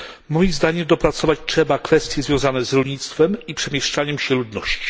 Moim zdaniem dopracować trzeba kwestie związane z rolnictwem i przemieszczaniem się ludności.